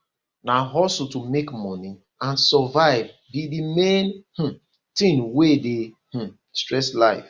na hustle to make money and survive be di main um thing wey dey um stress life